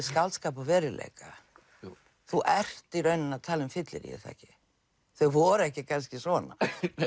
skáldskap og veruleika þú ert í rauninni að tala um fyllerí er það ekki þau voru ekki kannski svona